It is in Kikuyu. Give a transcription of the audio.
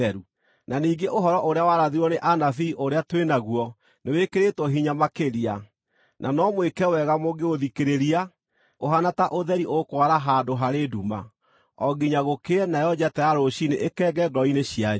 Na ningĩ ũhoro ũrĩa warathirwo nĩ anabii ũrĩa twĩ naguo nĩwĩkĩrĩtwo hinya makĩria, na no mwĩke wega mũngĩũthikĩrĩria, ũhaana ta ũtheri ũkwara handũ harĩ nduma, o nginya gũkĩe nayo njata ya rũciinĩ ĩkenge ngoro-inĩ cianyu.